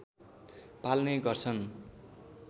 पाल्ने गर्छन्